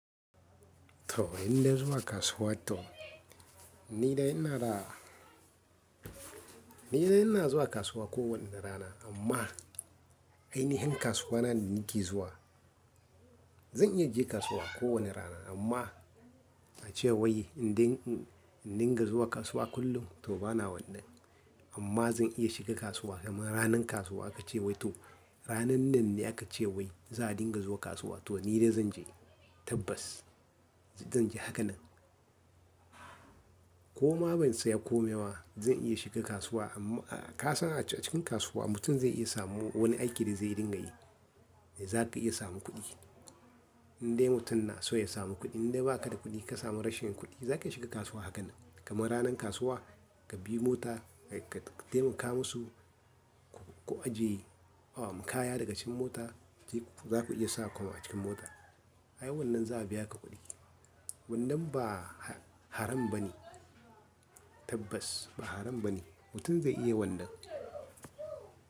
To inda zuwa kasuwa to ni da yana da, ni da yana zuwa kasuwa kowane rana amma ainihin kasuwa na da nake zuwa. Zan iya je kasuwa ko wane rana amma ace wai inda in, in dinga zuwa kasuwa kullum to bana wannan. Amma zan iya shiga kasuwa kamar ranar kasuwa aka ce wai to ranan nan ne aka ce wai za a dinga zuwa kasuwa to ni da zan je tabbas zan je haka nan. Koma ban saya komai ba zan iya shiga kasuwa amma ka san a cikin kasuwa mutum zai iya samu wani aiki da zai dinga yi. Zaka iya samu kuɗi. Indai mutum na so ya samu kuɗi indai baka da kuɗi ka samu rashin kuɗi zaka shiga kasuwa hakan nan. Kamar ranar kasuwa ka bi mota ka taimaka musu, ka aje kaya daga cikin mota je za ku iya sa komai a cikin mota. Ai wannan za'a biya ka kuɗi. Wannan ba haram ba ne tabbas ba haram ba ne mutum zai iya wannan.